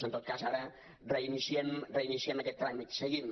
en tot cas ara reiniciem aquest tràmit seguim